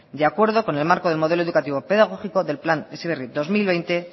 de acuerdo con el marco del modelo educativo pedagógico del plan heziberri dos mil veinte